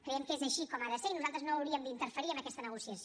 creiem que és així com ha de ser i nosaltres no hauríem d’interferir en aquesta negociació